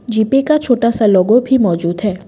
GPay का छोटा सा लोगो भी मौजूद है।